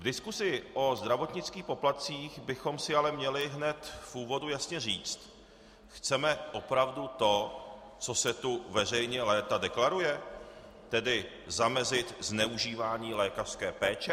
V diskusi o zdravotnických poplatcích bychom si ale měli hned v úvodu jasně říci - chceme opravdu to, co se tu veřejně léta deklaruje, tedy zamezit zneužívání lékařské péče?